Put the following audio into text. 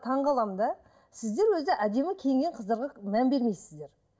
таңғаламын да сіздер өзі әдемі киінген қыздарға мән бермейсіздер